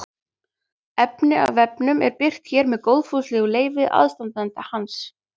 Efni af vefnum er birt hér með góðfúslegu leyfi aðstandenda hans.